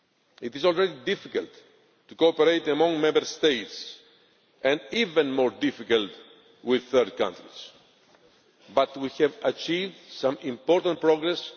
It is already difficult to cooperate among Member States and even more difficult with third countries, but we have achieved some important progress.